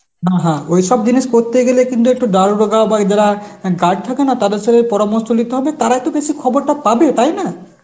হা হা ঐসব জিনিস করতে গেলে কিন্তু একটু দারোগা বা এদারা guard থাকে না তাদের সাথে পরামর্শ লিতে হবে তারা তো বেশি খবরটা পাবে, তাই না?